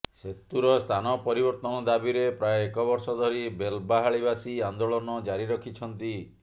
ସେତୁର ସ୍ଥାନ ପରିବର୍ତ୍ତନ ଦାବିରେ ପ୍ରାୟ ଏକବର୍ଷ ଧରି ବେଲବାହାଳିବାସୀ ଆନ୍ଦୋଳନ ଜାରି ରଖିଛନ୍ତି